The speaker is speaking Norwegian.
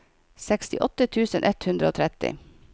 sekstiåtte tusen ett hundre og tretti